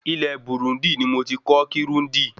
Ìlú Burundi ní mo tí kọ́ Kirundi